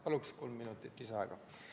Palun kolm minutit lisaaega!